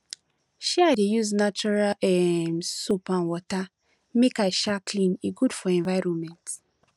um i dey use natural um soap and water make i um clean e good for environment